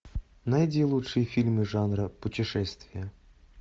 найди лучшие фильмы жанра путешествия